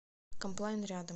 комплайн рядом